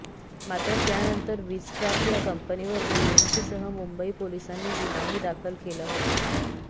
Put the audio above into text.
मात्र त्यानंतर विझक्राफ्ट या कंपनीवर बीएमसीसह मुंबई पोलिसांनी गुन्हाही दाखल केला होता